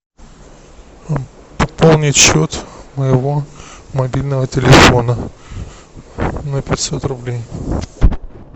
пополнить счет моего мобильного телефона на пятьсот рублей